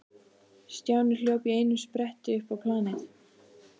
Stjáni hljóp í einum spretti upp á planið.